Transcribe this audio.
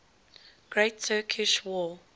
great turkish war